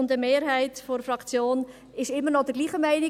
Eine Mehrheit der Fraktion ist immer noch der gleichen Meinung.